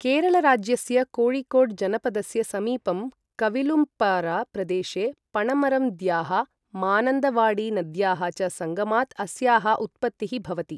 केरळराज्यस्य कोयिकोड् जनपदस्य समीपं कविलुम्पारा प्रदेशे पणमरम् द्याः मानन्दवाडी नद्याः च संगमात् अस्याः उत्पत्तिः भवति।